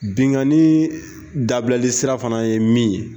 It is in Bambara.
Binnkanni dabilali sira fana ye min ye